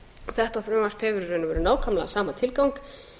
þetta frumvarp hefur í rauninni nákvæmlega sama tilgang